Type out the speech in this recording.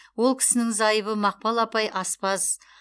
ол кісінің зайыбы мақпал апай аспаз